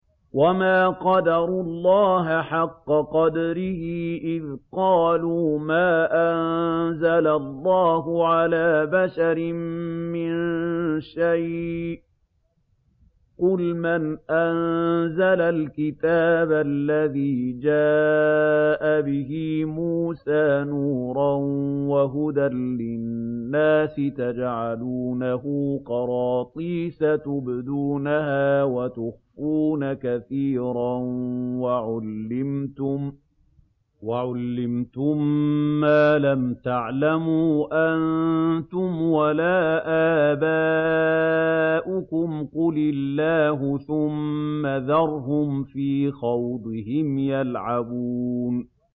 وَمَا قَدَرُوا اللَّهَ حَقَّ قَدْرِهِ إِذْ قَالُوا مَا أَنزَلَ اللَّهُ عَلَىٰ بَشَرٍ مِّن شَيْءٍ ۗ قُلْ مَنْ أَنزَلَ الْكِتَابَ الَّذِي جَاءَ بِهِ مُوسَىٰ نُورًا وَهُدًى لِّلنَّاسِ ۖ تَجْعَلُونَهُ قَرَاطِيسَ تُبْدُونَهَا وَتُخْفُونَ كَثِيرًا ۖ وَعُلِّمْتُم مَّا لَمْ تَعْلَمُوا أَنتُمْ وَلَا آبَاؤُكُمْ ۖ قُلِ اللَّهُ ۖ ثُمَّ ذَرْهُمْ فِي خَوْضِهِمْ يَلْعَبُونَ